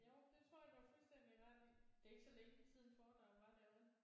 Jo det tror jeg du har fuldstændig ret i det er ikke så længe siden foredraget var derude